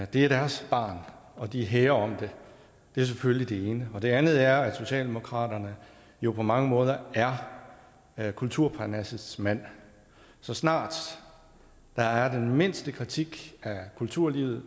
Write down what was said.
det er deres barn og de hæger om det det er selvfølgelig det ene og det andet er at socialdemokraterne jo på mange måder er er kulturparnassets mand så snart der er den mindste kritik af kulturlivet